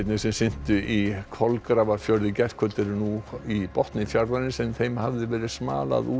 sem syntu í Kolgrafafjörð í gærkvöld eru nú í botni fjarðarins en þeim hafði verið smalað úr